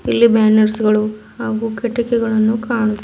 ಇಲ್ಲಿ ಬ್ಯಾನರ್ಸ್ ಗಳು ಹಾಗು ಕಿಟಕಿಗಳನ್ನು ಕಾಣು--